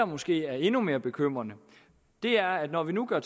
måske er endnu mere bekymrende er at når vi nu gør